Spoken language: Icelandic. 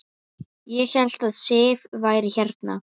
Ég hélt að Sif væri hérna.